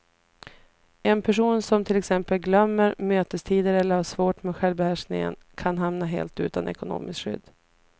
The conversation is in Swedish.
En person som till exempel glömmer mötestider eller har svårt med självbehärskningen kan hamna helt utan ekonomiskt skydd.